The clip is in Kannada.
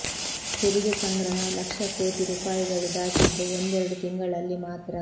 ತೆರಿಗೆ ಸಂಗ್ರಹ ಲಕ್ಷ ಕೋಟಿ ರೂಪಾಯಿಗಳು ದಾಟಿದ್ದು ಒಂದೆರಡು ತಿಂಗಳಲ್ಲಿ ಮಾತ್ರ